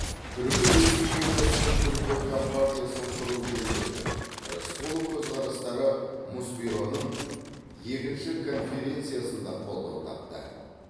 түркі республикасы мен түркі компартиясын құру жөніндегі рысқұлов көзқарастары мұсбюроның екінші конференциясында қолдау тапты